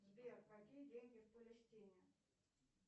сбер какие деньги в палестине